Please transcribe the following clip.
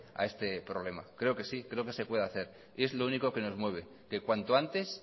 a este problema creo que sí creo que se puede hacer y es lo único que nos mueve que cuanto antes